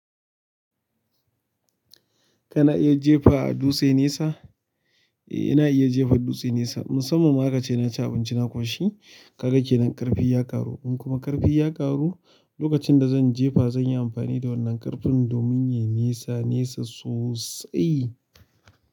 Kana iya jefa dutse nesa? Eh ina iya jefa dutse nesa, musamman ma aka ce na ci abinci na kwashi. Ka ga kenan ƙarfi ya ƙaru, in kuma ƙarfi ya ƙaru, lokacin da zan jefa zan yi amfani da wannan ƙarfin domin ya yi nesa nesa sosai.